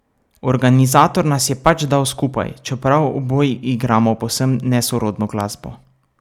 Organizator nas je pač dal skupaj, čeprav oboji igramo povsem nesorodno glasbo.